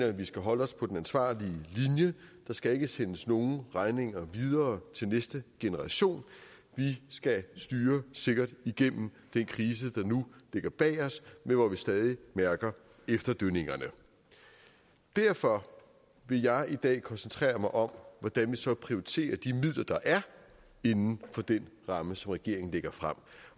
at vi skal holde os på den ansvarlige linje der skal ikke sendes nogen regninger videre til næste generation vi skal styre sikkert igennem den krise der nu ligger bag os men hvor vi stadig mærker efterdønningerne derfor vil jeg i dag koncentrere mig om hvordan vi så prioriterer de midler der er inden for den ramme som regeringen lægger frem